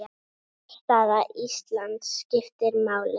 Afstaða Íslands skiptir máli.